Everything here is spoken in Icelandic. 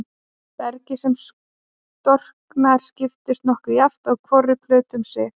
Bergið sem storknar skiptist nokkuð jafnt á hvora plötu um sig.